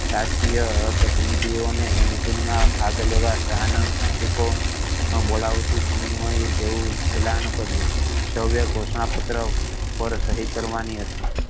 રાજકીય પ્રતિનિધિયો ને મિટિંગ મા ભાગ લેવા સાન ફ્રાન્સિસકો મા બોલાવતું સમનું જેવું એલાન કર્યું સર્વ ઘોસના પત્ર પર સહી કરવાની હતી